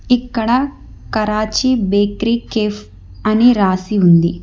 ఇక్కడ Karachi bakery cafe అని రాసి ఉంది.